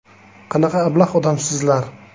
Qanaqa ablah odamsizlar?